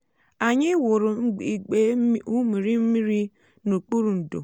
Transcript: anyị wuru igbe ụmụrịmịrị n'okpuru ndò.